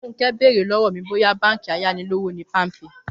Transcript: Fúnkẹ́ bèrè lọ́wọ́ mi bóyá báǹkì ayánilówóṣòwò ni Palmpay